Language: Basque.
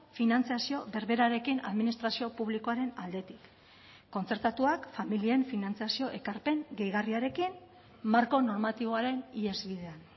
finantzazio berberarekin administrazio publikoaren aldetik kontzertatuak familien finantzazio ekarpen gehigarriarekin marko normatiboaren ihesbidean